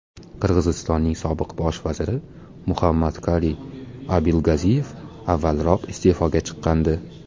Qirg‘izistonning sobiq bosh vaziri Muhammadkaliy Abilgaziyev avvalroq iste’foga chiqqandi .